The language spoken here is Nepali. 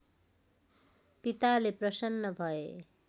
पिताले प्रसन्न भए